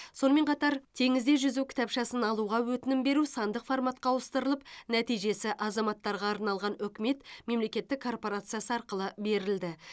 сонымен қатар теңізде жүзу кітапшасын алуға өтінім беру сандық форматқа ауыстырылып нәтижесі азаматтарға арналған үкімет мемлекеттік корпорациясы арқылы берілді